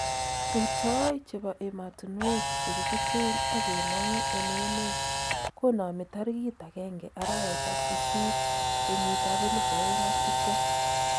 Rutooy chebo emotunwek che kichuten ak kemong'u en emeet ,konamii tarikiit 1 arawet ab sisiit 2020